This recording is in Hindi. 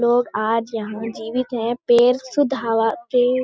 लोग आज यहां जीवित है पेड़ शुद्ध हवा पेड़ --